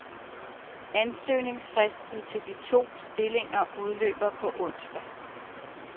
Ansøgningsfristen til de to stillinger udløber på onsdag.